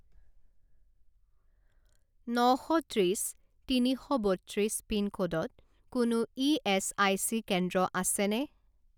ন শ ত্ৰিছ তিনি শ বত্ৰিছ পিনক'ডত কোনো ইএচআইচি কেন্দ্ৰ আছেনে?